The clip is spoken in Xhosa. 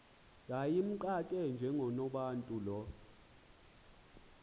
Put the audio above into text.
yayimxake njengonobantu lo